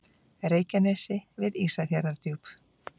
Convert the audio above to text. Reykjanesi við Ísafjarðardjúp.